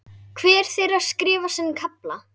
Hver þeirra skrifar sinn kafla.